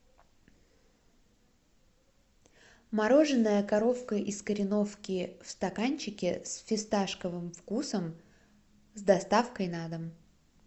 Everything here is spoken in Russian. мороженое коровка из кореновки в стаканчике с фисташковым вкусом с доставкой на дом